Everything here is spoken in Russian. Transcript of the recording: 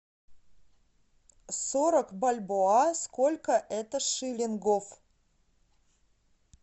сорок бальбоа сколько это шиллингов